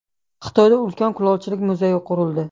Xitoyda ulkan kulolchilik muzeyi qurildi .